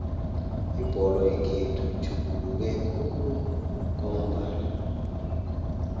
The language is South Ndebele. ibholo yekhethu itjhuguluke khulu kwamambala